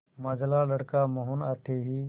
मंझला लड़का मोहन आते ही